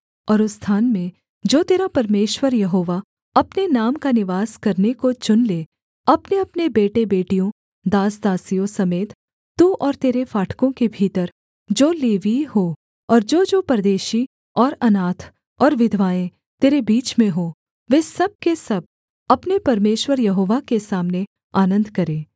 और उस स्थान में जो तेरा परमेश्वर यहोवा अपने नाम का निवास करने को चुन ले अपनेअपने बेटेबेटियों दास दासियों समेत तू और तेरे फाटकों के भीतर जो लेवीय हों और जोजो परदेशी और अनाथ और विधवाएँ तेरे बीच में हों वे सब के सब अपने परमेश्वर यहोवा के सामने आनन्द करें